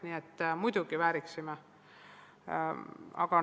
Nii et muidugi vääriksime eraldi seadusi.